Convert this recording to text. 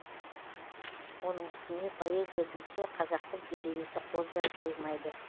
оның үстіне поэзия десе қазақтың делебесі қозбай қоймайды